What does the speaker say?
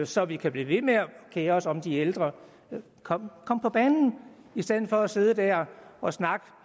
så vi kan blive ved med at kere os om de ældre kom på banen i stedet for at sidde der og snakke